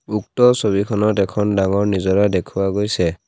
উক্ত ছবিখনত এখন ডাঙৰ নিজৰা দেখুওৱা গৈছে।